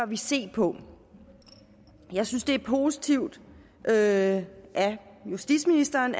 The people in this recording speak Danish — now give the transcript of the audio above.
vi se på jeg synes det er positivt at justitsministeren